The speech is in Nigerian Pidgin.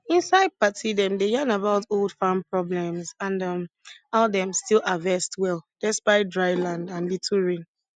inside party dem dey yarn about old farm problems and um how dem still harvest well despite dry land and little rain